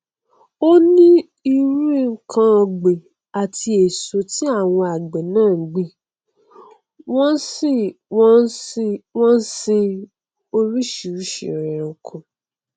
onírúirú nkan ọgbìn àti èso ni àwọn àgbẹ náà ngbìn wọn sì wọn sì nsin oríṣìíríṣìí ẹranko